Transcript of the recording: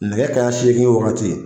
Nɛgɛ kaɲa seegin wagati.